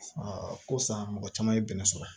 ko san mɔgɔ caman ye bɛnɛ sɔrɔ